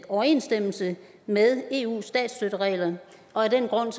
overensstemmelse med eus statsstøtteregler og af den grund